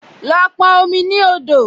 Lọ pọn omi ní odò!